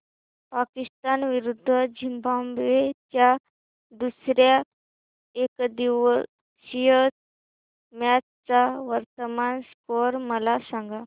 पाकिस्तान विरुद्ध झिम्बाब्वे च्या दुसर्या एकदिवसीय मॅच चा वर्तमान स्कोर मला सांगा